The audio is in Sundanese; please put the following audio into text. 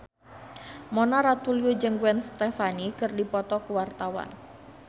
Mona Ratuliu jeung Gwen Stefani keur dipoto ku wartawan